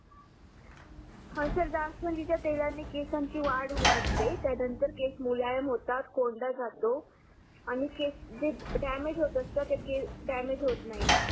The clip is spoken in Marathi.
हा सर जास्वंदीच्या तेलाने केसांची वाढ वाढते त्या नंतर केस मुलायम होतात कोंडा जातो आणि केस जे डॅमेज होत असतात ते डॅमेज होत नाही